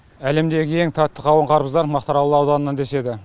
әлемдегі ең тәтті қауын қарбыздар мақтаарал ауданынан деседі